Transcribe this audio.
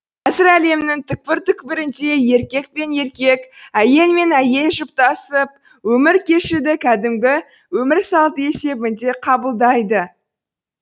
қазір әлемнің түкпір түкпірінде еркек пен еркек әйел мен әйел жұптасып өмір кешуді кәдімгі өмір салты есебінде қабылдайды